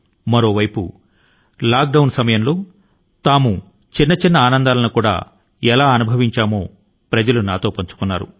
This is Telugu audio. మరోవైపు లాక్ డౌన్ కాలం లో జీవనానందంలోని చిన్న కోణాల ను ఎలా తిరిగి పొందారో ప్రజలు నాతో పంచుకున్నారు